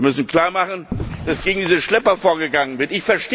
Wir müssen klarmachen, dass gegen diese Schlepper vorgegangen wird.